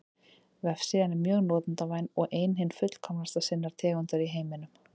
Vefsíðan er mjög notendavæn og er ein hin fullkomnasta sinnar tegundar í heiminum.